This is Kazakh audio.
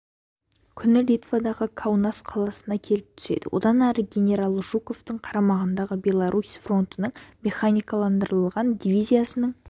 күні литвадағы каунас қаласына келіп түседі осыдан ары генерал жуковтың қарамағындағы белорусь фронтының механикаландырылған дивизиясының